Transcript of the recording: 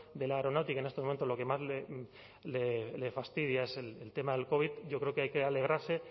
de la aeronáutica en estos momentos lo que más le fastidia es el tema del covid yo creo que hay que alegrarse